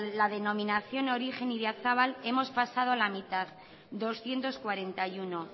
la denominación de origen idiazabal hemos pasado a la mitad doscientos cuarenta y uno